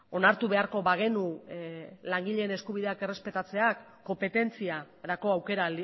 onartu beharko bagenu langileen eskubideak errespetatzea konpetentziarako aukera